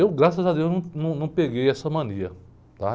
Eu, graças a Deus, não, num num peguei essa mania, tá?